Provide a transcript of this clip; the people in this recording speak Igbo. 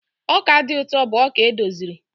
ọka dị ụtọ bụ ọka edoziri